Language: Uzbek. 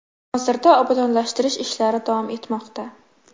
Hozirda obodonlashtirish ishlari davom etmoqda.